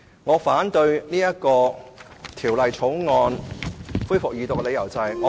我反對《條例草案》恢復二讀的理由是，......